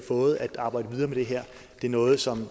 fået at arbejde videre med det her det er noget som